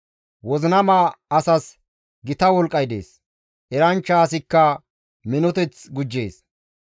Wozinama asas gita wolqqay dees; eranchcha asikka minoteth gujjees.